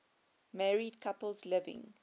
married couples living